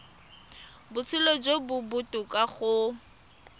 botshelo jo bo botoka go